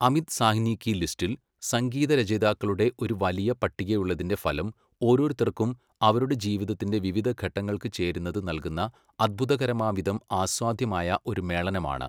അമിത് സാഹ്നി കി ലിസ്റ്റിൽ സംഗീതരചയിതാക്കളുടെ ഒരു വലിയ പട്ടികയുള്ളതിന്റെ ഫലം ഓരോരുത്തർക്കും അവരുടെ ജീവിതത്തിന്റെ വിവിധഘട്ടങ്ങൾക്ക് ചേരുന്നത് നൽകുന്ന അത്ഭുതകരമാംവിധം ആസ്വാദ്യമായ ഒരു മേളനമാണ്.